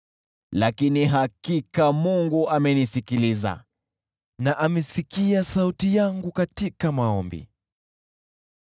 lakini hakika Mungu amenisikiliza na amesikia sauti yangu katika maombi.